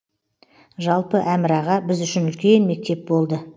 жалпы әмір аға біз үшін үлкен мектеп болды